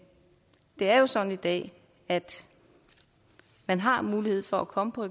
det er jo sådan i dag at man har mulighed for at komme på